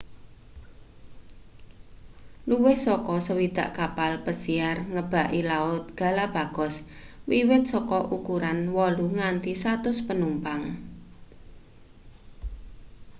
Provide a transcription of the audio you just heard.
luwih saka 60 kapal besiar ngebaki laut galapagos wiwit saka ukuran 8 nganti 100 panumpang